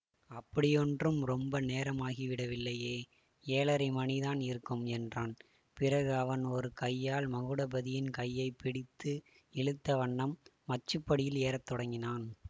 அப்படியொன்றும் ரொம்ப நேரமாகிவிடவில்லையே ஏழரை மணிதான் இருக்கும் என்றான் பிறகு அவன் ஒரு கையால் மகுடபதியின் கையை பிடித்து இழுத்த வண்ணம் மச்சுப்படியில் ஏற தொடங்கினான்